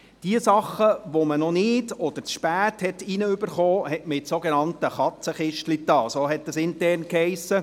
Jene Dinge, die man noch nicht oder zu spät erhielt, wurden ins sogenannte «Katzenkistchen» gelegt, wie es intern hiess.